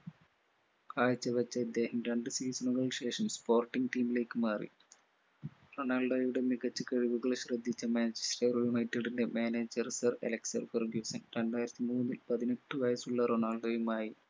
കാഴ്ചവച്ച ഇദ്ദേഹം രണ്ട് season കൾക്ക് ശേഷം sporting team ലേക്ക് മാറി റൊണാൾഡോയുടെ മികച്ച കഴിവുകളെ ശ്രദ്ധിച്ച manchester united ൻറെ manager sir അലക്സ് ഫെർഗുസൺ രണ്ടായിരത്തി മൂന്നിൽ പതിനെട്ടു വയസുള്ള റൊണാള്ഡോയുമായി